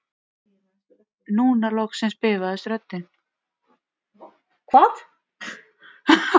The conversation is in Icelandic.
Núna loksins bifaðist röddin